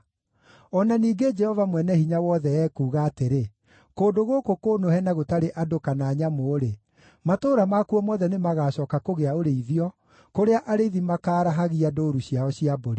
“O na ningĩ Jehova Mwene-Hinya-Wothe ekuuga atĩrĩ: ‘Kũndũ gũkũ kũnũhe na gũtarĩ andũ kana nyamũ-rĩ, matũũra makuo mothe nĩmagacooka kũgĩa ũrĩithio kũrĩa arĩithi makaarahagia ndũũru ciao cia mbũri.